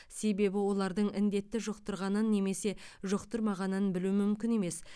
себебі олардың індетті жұқтырғанын немесе жұқтырмағанын білу мүмкін емес